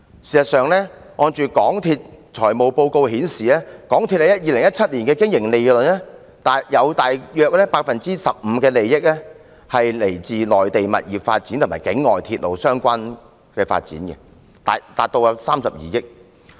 事實上，港鐵公司的財務報告顯示，其2017年的經營利潤中約 15% 是來自內地物業發展和境外鐵路相關發展，達32億元。